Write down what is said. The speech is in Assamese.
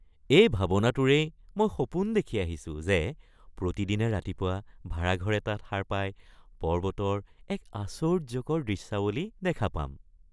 এই ভাবনাটোৰেই মই সপোন দেখি আহিছো যে প্ৰতিদিনে ৰাতিপুৱা ভাৰা ঘৰ এটাত সাৰ পাই পৰ্বতৰ এক আশ্চৰ্যকৰ দৃশ্যাৱলী দেখা পাম ।